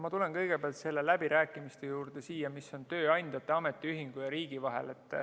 Ma tulen kõigepealt nende läbirääkimiste juurde, mis on tööandjate ja ametiühingu ja riigi vahel.